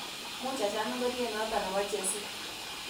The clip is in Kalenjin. Muuch acham ingoryet noto nebo jesit